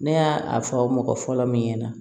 Ne y'a fɔ mɔgɔ fɔlɔ min ɲɛna